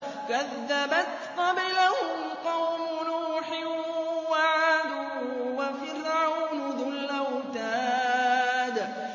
كَذَّبَتْ قَبْلَهُمْ قَوْمُ نُوحٍ وَعَادٌ وَفِرْعَوْنُ ذُو الْأَوْتَادِ